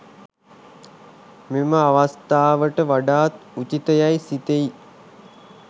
මෙම අවස්ථාවට වඩාත් උචිත යැයි සිතෙයි.